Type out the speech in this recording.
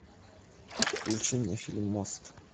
включи мне фильм мост